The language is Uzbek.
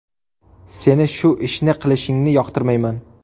Seni shu ishni qilishingni yoqtirmayman.